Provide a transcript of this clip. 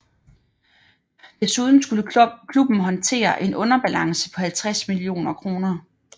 Desuden skulle klubben håndtere en underbalance på 50 millioner kroner